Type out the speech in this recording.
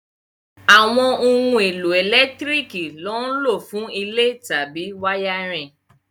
Àwọn ohun èlò ẹ̀lẹ́tíríkì lọ́ n lò fún ilé tàbí wáyárìn